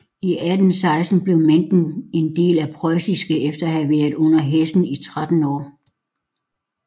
I 1816 blev Menden en del af Preussen efter at have været under Hessen i 13 år